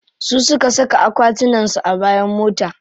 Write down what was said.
Su suka saka akwatunan su a bayan mota.